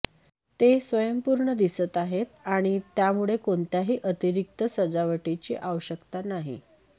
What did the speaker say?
ते स्वयंपूर्ण दिसत आहेत आणि त्यामुळे कोणत्याही अतिरिक्त सजावटची आवश्यकता नाही